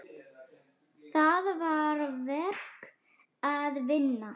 Þar var verk að vinna.